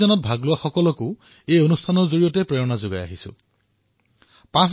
পাঁচ বছৰ পূৰ্বে আৰম্ভ হোৱা এই অভিযানে আজি জনসাধাৰণৰ সহযোগত স্বচ্ছতাৰ নতুন মানদণ্ড স্থাপন কৰিছে